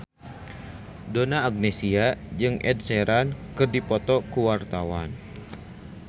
Donna Agnesia jeung Ed Sheeran keur dipoto ku wartawan